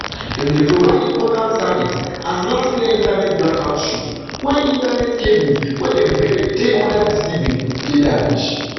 dem dey provide important service as last year internet blackout show wen internet cables wey dem bury dey under di sea bin dey damaged